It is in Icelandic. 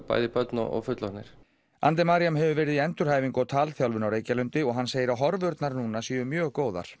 bæði börn og fullorðnir hefur verið í endurhæfingu og talþjálfun á Reykjalundi og hann segir að horfurnar núna séu mjög góðar